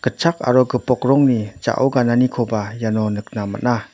gitchak aro gipok rongni ja·o gananikoba iano nikna man·a.